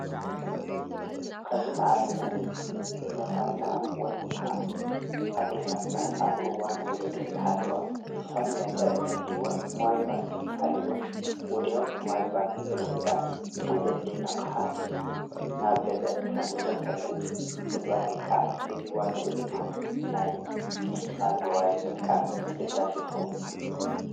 ኸዝና ኣብነት እነታትና ወይን ድማ ኣዶታትና ኣብእዋን ወሊድ እንተሃለዋ ዝኾነ ነገር እንተድልይዎን መዋይል ባንክ እንተሃሊወን ወድያዊ ብምይል ባንክ ብምእዛዝ እቲ ዘድልየ ናቕሓ ናብ ገዘን ከም ዝመጸለን ምግባር ይከኣል እዙይ ዋኑኡ ድማ ናይ ዲጊታል መዋይል ምጥቃም ኣገዳስ ይኸውን።